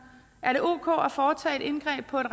er det ok at foretage et indgreb på et